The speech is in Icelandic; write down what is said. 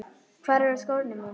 Hvar eru skórnir mínir?